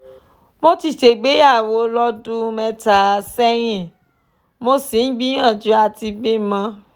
mo ti ṣègbéyàwó lọ́dún mẹ́ta sẹ́yìn mo sì ń gbìyànjú àti bímọ